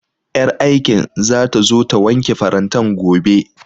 Ƴar aikin zata zo ta wanke farantan gobe